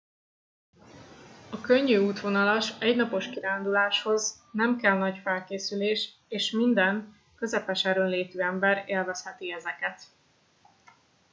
a könnyű útvonalas egy napos kiránduláshoz nem kell nagy felkészülés és minden közepes erőnlétű ember élvezheti ezeket